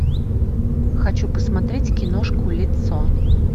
хочу посмотреть киношку лицо